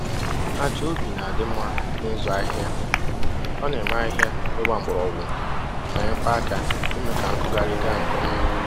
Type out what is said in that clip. Aja ubi na-adị mma na-ịzụ ahịhịa. O na-eme ahịhịa ịgba mgbọrọgwụ ma nyekwa aka ime ka nkụgharị gaa nke ọma